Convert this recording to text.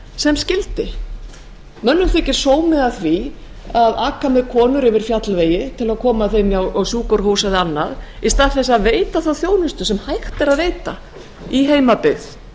sem skyldi mönnum þykir sómi að því að aka með konur yfir fjallvegi til að koma þeim á sjúkrahús eða annað í stað þess að veita þá þjónustu sem hægt er að veita í heimabyggð